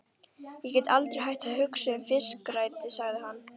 Ég get aldrei hætt að hugsa um fiskirækt sagði hann.